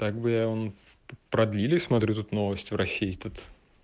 так бы и он продлили смотрю тут новости в россии тут